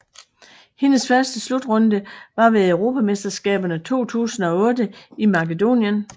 Hendes første slutrunde var ved Europamesterskaberne 2008 i Makedonien